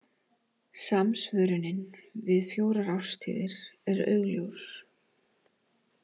Samsvörunin við fjórar árstíðir er augljós.